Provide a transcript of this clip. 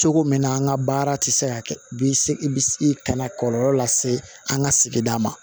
Cogo min na an ka baara tɛ se ka kɛ bi se bi ka na kɔlɔlɔ lase an ka sigida ma